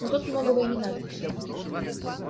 но тут многого и не надо